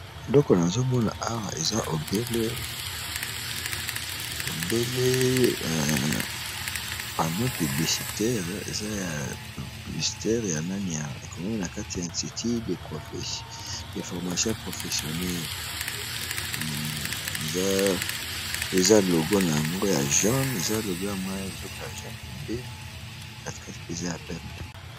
Eloko nazo mona awa eza obele panneau publicitaire, eza ya publicité ya nani ya e komami na kati ya institut de formation professionnelle, eza logo nango ya jaune, eza logo ya mwa eloko ya jaune pembeni, kati kati eza ya pembe .